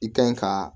I ka ɲi ka